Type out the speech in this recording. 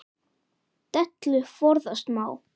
Dellu forðast má.